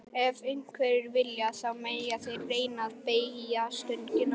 Ef einhverjir vilja, þá mega þeir reyna að beygja stöngina.